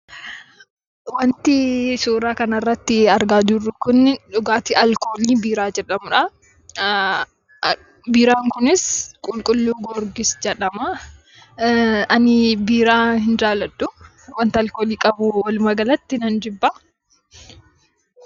Wanti suuraa kana irratti argaa jirru kun dhugaatii 'alkoolii biiraa' jedhamuudha. Biiraan kunis qulqulluu Giyoorgis jedhama. Ani biiraa hin jaalladhu. Wanta 'alkoolii' qabu walumaa galatti nan jibba.